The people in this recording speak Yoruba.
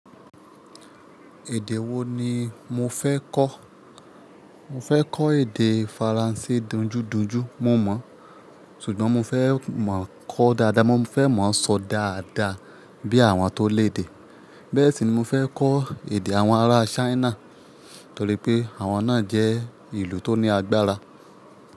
Èdè wo ni mo fẹ́ kọ́? Mo fẹ́ kọ́ èdè Faransé dunjúdunjú, mo mọ̀, ṣùgbọ́n mo fẹ́ máa kọ́ dáadáa, mo fẹ́ máa sọ dáadáa bí àwọn tó lèdè. Bẹ́ẹ̀ sì ni mo fẹ́ kọ́ èdè àwọn ará Ṣáínà torí pé àwọn náà jẹ́ ìlú tó ní agbára.